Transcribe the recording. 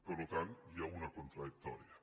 per tant hi ha una contradicció